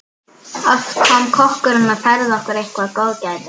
Oft kom kokkurinn og færði okkur eitthvert góðgæti.